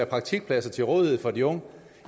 praktikpladser til rådighed for de unge